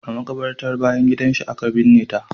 A makabartar bayan gidan shi aka binne ta.